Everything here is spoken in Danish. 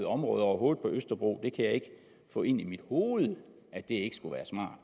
område overhovedet på østerbro jeg kan ikke få ind i mit hoved at det ikke skulle være smart